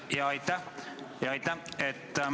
Jaa, aitäh!